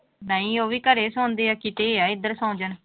ਨਹੀਂ ਉਹ ਵੀ ਘਰੇ ਸੌਂਦੇ ਹੈ ਕਿਤੇ ਹੈ ਇੱਧਰ ਸੌਂ ਜਾਣ।